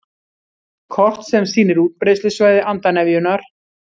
Kort sem sýnir útbreiðslusvæði andarnefjunnar